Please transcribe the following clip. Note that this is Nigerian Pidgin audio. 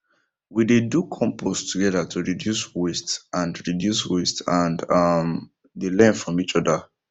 we dey do compost together to reduce waste and reduce waste and um dey learn from each other